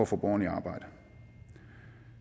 få borgerne i arbejde